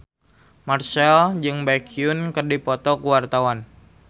Marchell jeung Baekhyun keur dipoto ku wartawan